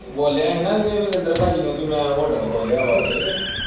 ਬੋਲਿਆ ਹੀ ਨਾ ਕਿ ਮਹਿੰਦਰ ਪਾਜੀ ਨੇ ਵੀ ਮੈਂ hotel ਖੋਲਿਆ ਵਾ ਉੱਥੇ।